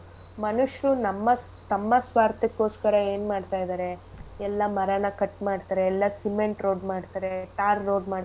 ಮನುಷ್ರು ನಮ್ಮಸ್~ ತಮ್ಮ ಸ್ವಾರ್ಥಕ್ಕೋಸ್ಕರ ಏನ್ ಮಾಡ್ತಾ ಇದಾರೆ ಎಲ್ಲ ಮರ ಎಲ್ಲ cut ಮಾಡ್ತಾರೆ ಎಲ್ಲ cement road ಮಾಡ್ತಾರೆ tar road .